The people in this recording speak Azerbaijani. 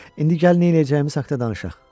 İndi gəl neyləyəcəyimiz haqqında danışaq.